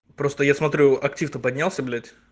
просто я смотрю актив то поднялся блять